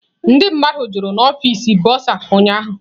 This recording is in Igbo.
Ndị mmadụ jụrụ n'ọfịs bụsa ụnyahụ.